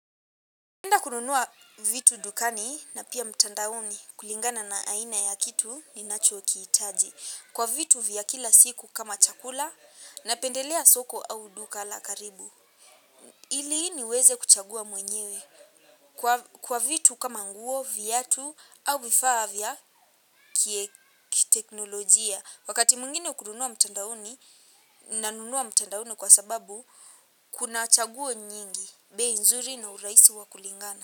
Naenda kununua vitu dukani na pia mtandaoni kulingana na aina ya kitu ninacho kihitaji. Kwa vitu vya kila siku kama chakula napendelea soko au duka la karibu. Ili niweze kuchagua mwenyewe kwa vitu kama nguo viatu au vifaa vya kiteknolojia. Wakati mwingine kununua mtandaoni nanunua mtandaoni kwa sababu kuna chaguo nyingi bei nzuri na urahisi wa kulingana.